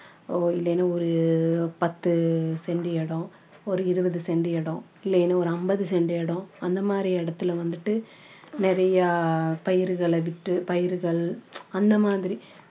ஓ இல்லன்னா ஒரு பத்து cent இடம் ஒரு இருபது cent இடம் இல்லன்னா ஒரு ஐம்பது cent இடம் அந்த மாதிரி இடத்துல வந்துட்டு நிறைய பயிர்களை விட்டு பயிர்கள் அந்த மாதிரி